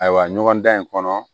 Ayiwa ɲɔgɔndan in kɔnɔ